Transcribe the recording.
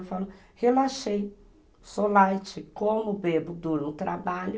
Eu falo, relaxei, sou light, como, bebo, durmo, trabalho.